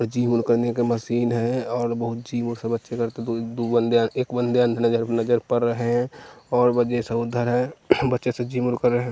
gym करने की machine है और बहुत सी वो सब नजर पर रहे हैं और वजे सब उधर हैं बच्चे सब जिम --